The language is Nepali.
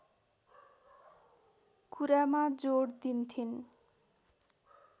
कुरामा जोड दिन्थिन्